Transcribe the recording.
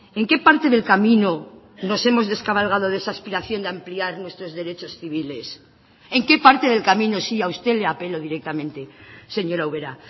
en qué parte del camino nos hemos descabalgado de esa aspiración de ampliar nuestros derechos civiles en qué parte del camino sí a usted le apelo directamente señora ubera